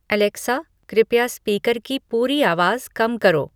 Alexa कृपया speaker की पूरी आवाज़ कम करो